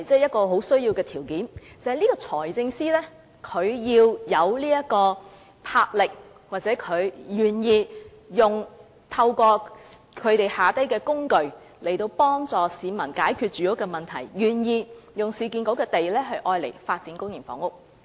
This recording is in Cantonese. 不過，先決條件是財政司司長要有魄力或願意透過旗下的機構，幫助市民解決住屋問題，願意用市建局的土地發展公營房屋。